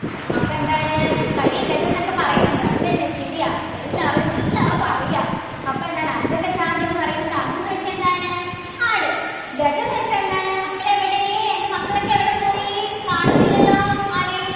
അപ്പൊ എന്താണ് കരി ഗജം എന്നൊക്കെ പറയുന്നുണ്ട് അത് തന്നെ ശരിയാ എല്ലാവരും എല്ലാവർക്കും അറിയാം അപ്പൊ എന്താണ് അജഗജാന്തരം എന്ന് പറയുന്നത് അജം ന്നു വെച്ച എന്താണ് ആട് ഗജം ന്നു വെച്ച എന്താണ് മക്കളെവിടെ എൻ്റെ മക്കളൊക്കെ എവിടെപ്പോയി കാണുന്നില്ലല്ലോ ആരെയും